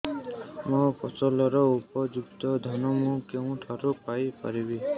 ମୋ ଫସଲର ଉପଯୁକ୍ତ ଦାମ୍ ମୁଁ କେଉଁଠାରୁ ପାଇ ପାରିବି